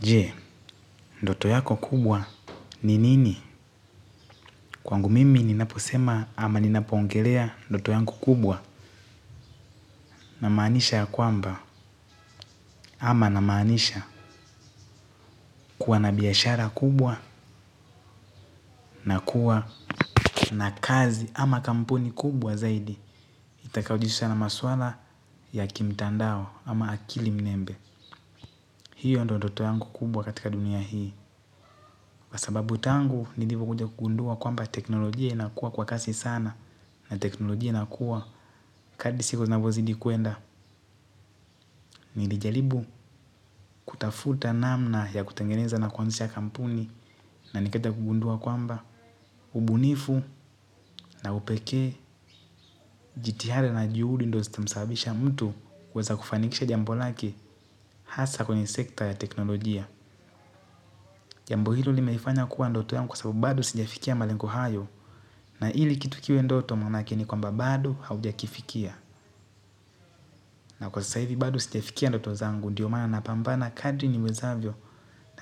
Je, ndoto yako kubwa ni nini? Kwangu mimi ninaposema ama ninapongelea ndoto yanku kubwa na maanisha ya kwamba. Ama namaanisha kuwa na biashara kubwa na kuwa na kazi ama kampuni kubwa zaidi. Itakaojihusha na maswala ya kimtandao ama akili mnembe. Hiyo ndio ndoto yangu kubwa katika dunia hii. Kwa sababu tangu, nilivokuja kugundua kwamba teknolojia inakuwa kwa kasi sana. Na teknolojia inakuwa kadri siku zinavhozidi kuenda nilijaribu kutafuta namna ya kutengeneza na kuanzisha kampuni na nikaja kugundua kwamba ubunifu na upekee jitihada na juhudi ndo zitamsabisha mtu kuweza kufanikisha jambo lake hasa kwenye sekta ya teknolojia. Jambo hilo limeifanya kuwa ndoto yangu kwa sababu bado sijafikia malengo hayo na ili kitu kiwe ndoto manake ni kwamba bado haujakifikia na kwa sasa hivi bado sijafikia ndoto zangu ndio maana napambana kadri niwezavyo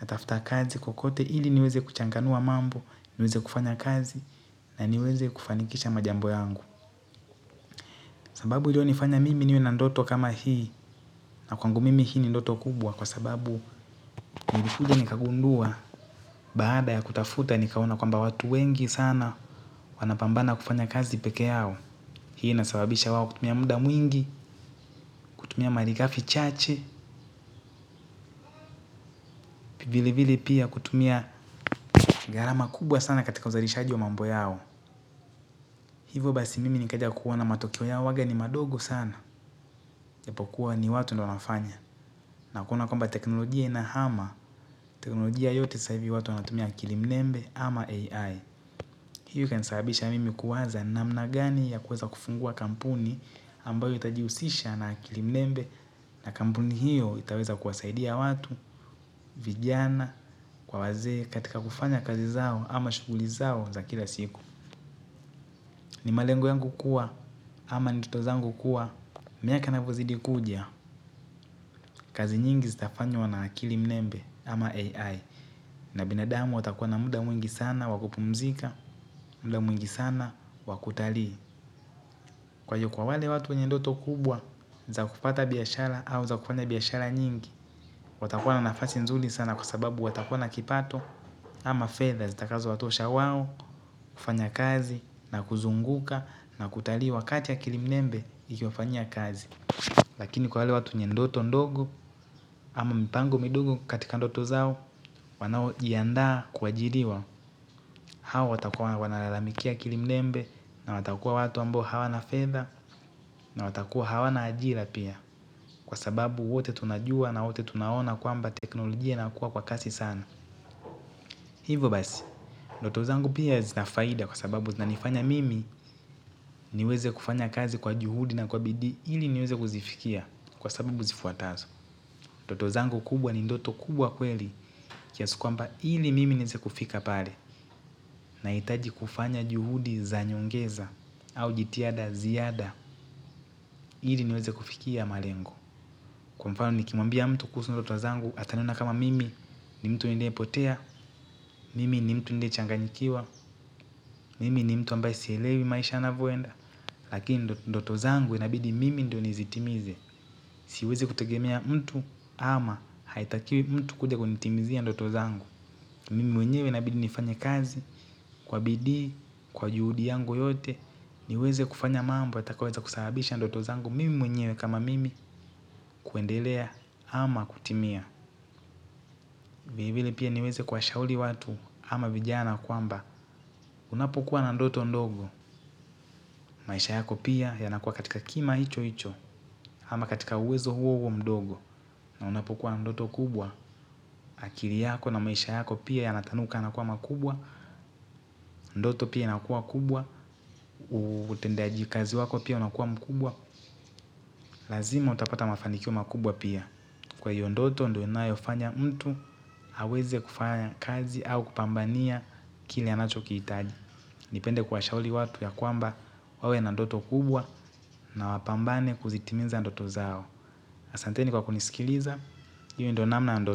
natafuta kazi kokote ili niweze kuchanganua mambo niweze kufanya kazi na niweze kufanikisha majambo yangu sababu iliyonifanya mimi niwe na ndoto kama hii na kwangu mimi hii ni ndoto kubwa kwa sababu nilikuja nikagundua baada ya kutafuta nikaona kwamba watu wengi sana wanapambana kufanya kazi peke yao hii inasababisha wao kutumia muda mwingi kutumia marigafi chache vile vile pia kutumia gharama kubwa sana katika uzalishaji wa mambo yao. Hivyo basi mimi nikaja kuona matokeo yao huwaga ni madogo sana. Japokuwa ni watu ndo wanafanya. Na kuona kwamba teknolojia inahama, teknolojia yote sasa hivi watu wanatumia akili mnembe ama AI. Hiyo ikanisababisha mimi kuwaza namna gani ya kuweza kufungua kampuni ambayo itajihusisha na akili mnembe na kampuni hiyo itaweza kuwasaidia watu, vijana, kwa wazee katika kufanya kazi zao ama shughuli zao za kila siku. Ni malengo yangu kuwa ama ndoto zangu kuwa miaka inavozidi kuja. Kazi nyingi zitafanywa na akili mnembe ama AI. Na binadamu watakuwa na muda mwingi sana wa kupumzika. Muda mwingi sana wa kutalii. Kwa hiyo kwa wale watu wenye ndoto kubwa za kufata biashara au za kufanya biashara nyingi watakuwa na nafasi nzuri sana kwa sababu watakuwa na kipato. Ama fedha zitakazo watosha wao kufanya kazi na kuzuka na kutalii wakati akili mnembe ikiwafanyia kazi lakini kwa wale watu wenye ndoto ndogo. Ama mipango midogp katika ndoto zao. Wanao iandaa kuajiriwa. Hawa watakuwa wanalalamikia akili mmembe. Na watakuwa watu ambo hawana fedha. Na watakuwa hawana ajira pia. Kwa sababu wote tunajua na wote tunaona kwamba teknolojia inakuwa kwa kasi sana hivyo basi ndoto zangu pia zina faida kwa sababu zinafanya mimi niweze kufanya kazi kwa juhudi na bidii ili niweze kuzifikia kwa sababu zifuatazo ndoto zangu kubwa ni ndoto kubwa kweli kiasi kwamba ili mimi neize kufika pale nahiitaji kufanya juhudi za nyongeza au jitiada ziada ili niweze kufikia malengo. Kwa mfano nikimwambia mtu kuhusu ndoto zangu ataniona kama mimi ni mtu niliye potea, mimi ni mtu niliye changanyikiwa, mimi ni mtu ambaye sielewi maisha yanavoenda. Lakini ndoto zangu inabidi mimi ndio nizitimize. Siwezi kutegemea mtu ama haitakiwi mtu kuja kunitimizia doto zangu mimi mwenyewe inabidi nifanye kazi kwa bidii kwa juhudi yangu yote. Niweze kufanya mambo yatakayoweza kusababisha ndoto zangu mimi mwenyewe kama mimi kuendelea ama kutimia. Vile vile pia niweze kuwashauri watu ama vijana kwamba unapokuwa na ndoto ndogo maisha yako pia yanakuwa katika kima hicho hicho. Ama katika uwezo huo huo mdogo na unapokuwa na ndoto kubwa akili yako na maisha yako pia yanatanuka na kuwa makubwa. Ndoto pia inakuwa kubwa utendaji kazi wako pia unakuwa mkubwa. Lazima utapata mafanikio makubwa pia. Kwa hiyo ndoto ndo inayo fanya mtu aweze kufanya kazi au kupambania kile anacho kihitaji nipende kuwashauri watu ya kwamba wawe na ndoto kubwa na wapambane kuzitimiza ndoto zao. Asanteni kwa kunisikiliza hiyo ndo namna ya ndoto.